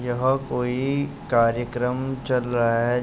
यह कोई कार्यक्रम चल रहा है।